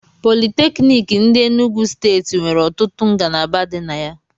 Politékiniki ndi Enugwu steeti nwere ọtụtụ ngalaba di na ya